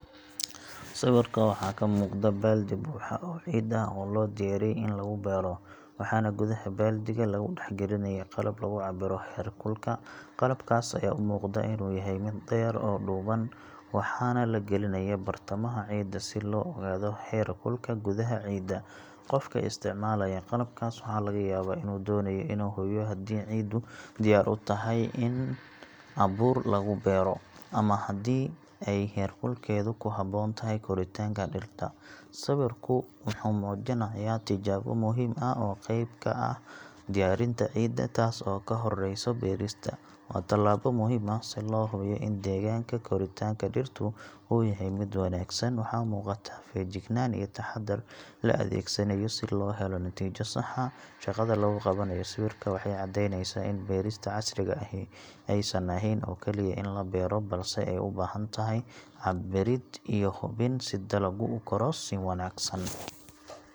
Sawirka waxaa ka muuqda baaldi buuxa oo ciid ah oo loo diyaariyey in lagu beero, waxaana gudaha baaldiga lagu dhex gelinayaa qalab lagu cabbiro heerkulka. Qalabkaas ayaa u muuqda inuu yahay mid dheer oo dhuuban, waxaana la gelinayaa bartamaha ciidda si loo ogaado heer kulka gudaha ciidda. Qofka isticmaalaya qalabkaas waxaa laga yaabaa inuu doonayo inuu hubiyo haddii ciiddu diyaar u tahay in abuur lagu beero ama haddii ay heerkulkeedu ku habboon yahay koritaanka dhirta. Sawirku wuxuu muujinayaa tijaabo muhiim ah oo qayb ka ah diyaarinta ciidda, taas oo ka horreyso beerista. Waa tallaabo muhim ah si loo hubiyo in deegaanka koritaanka dhirtu uu yahay mid wanaagsan. Waxaa muuqata feejignaan iyo taxaddar la adeegsanayo si loo helo natiijo sax ah. Shaqada lagu qabanayo sawirka waxay caddeyneysaa in beerista casriga ahi aysan ahayn oo kaliya in la beero, balse ay u baahan tahay cabbirid iyo hubin si dalaggu u koro si wanaagsan.